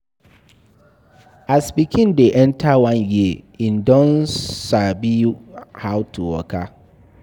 As pikin dey enter one year im don sabi how to waka